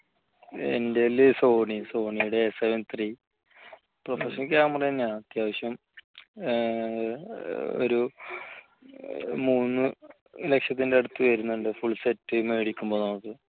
എൻറെ കയ്യിൽ സോണി സോണിയുടെ S seven three professional camera തന്നെയാണ് അത്യാവശ്യം ഒരു മൂന്നുലക്ഷത്തിന്റെ അടുത്ത് വരുന്നുണ്ട് full set മേടിക്കുമ്പോൾ നമുക്ക്